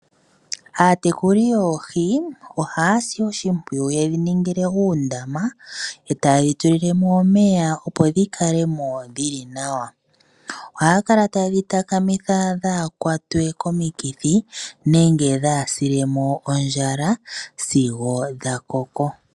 Aatekuli yoohi ohaya si oshimpwiyu yedhi ningile uundama e taya tulamo omeya opo dhikale mo dhili nawa. Ohaye dhi takamitha opo kaadhi kwatwe komikithi nenge dhaasile mo ondjala sigo dhakoko.